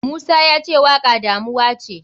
Musa yace waka damuwace.